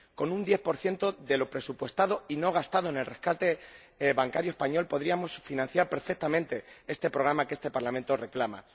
Con un 10 de lo presupuestado y no gastado en el rescate bancario español podríamos financiar perfectamente este programa que este Parlamento reclama.